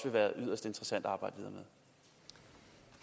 være yderst interessant